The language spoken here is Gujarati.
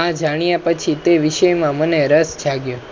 આ જાણ્યા પછી તે વિષય માં મને રાસ જાગ્યો